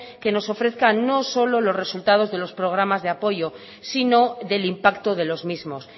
que nos ofrezca no solo los resultados de los programas de apoyo sino del impacto de los mismos